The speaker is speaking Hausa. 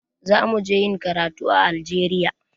Za mu je ƴin karatu a Algeria.